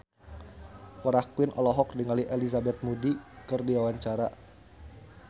Farah Quinn olohok ningali Elizabeth Moody keur diwawancara